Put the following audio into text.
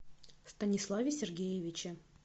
станиславе сергеевиче